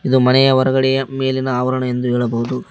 ಇದು ಮನೆಯ ಹೊರಗಡೆಯ ಮೇಲಿನ ಆವರಣ ಎಂದು ಹೇಳಬಹುದು.